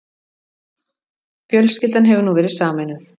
Fjölskyldan hefur nú verið sameinuð